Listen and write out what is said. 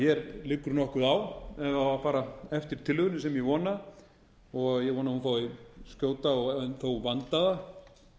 hér liggur nokkuð á ef á að fara eftir tillögunni sem ég vona og ég vona að hún fái skjóta og umfram allt vandaða